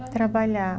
trabalha